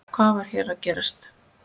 Hvað var hér að gerast?